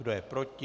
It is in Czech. Kdo je proti?